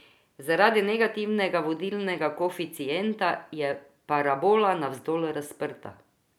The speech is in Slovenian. Zaradi negativnega vodilnega koeficienta je parabola navzdol razprta.